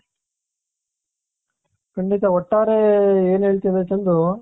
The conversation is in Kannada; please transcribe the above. ಖಂಡಿತ ಒಟ್ಟಾರೆ ಏನ್ ಹೇಳ್ತೀನಿ ಅಂದ್ರೆ ಚಂದು .